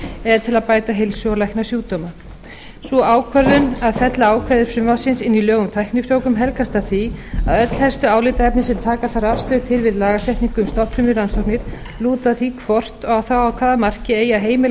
eða til að bæta heilsu og lækna sjúkdóma sú ákvörðun að fella ákvæði frumvarpsins inn í lög um tæknifrjóvgun helgast af því að öll helstu álitaefni sem taka þarf afstöðu til við lagasetningu um stofnfrumurannsóknir lúta að því hvort og þá að hvaða marki eigi að heimila